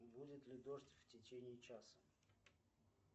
будет ли дождь в течении часа